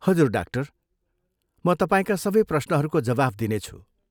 हजुर, डाक्टर ! म तपाईँका सबै प्रश्नहरूको जवाफ दिनेछु।